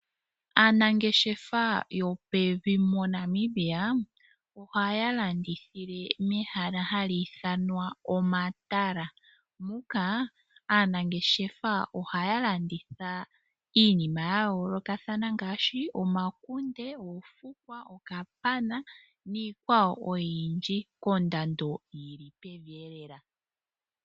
Aanangeshefa yopevi moNamibia ohaya landithile mehala hali ithanwa omatala. Muka aanangeshefa ohaya landitha iinima ya yoolokathana ngaashi omakunde, oofukwa, okapana niikwawo oyindji kondando yili pevi elela.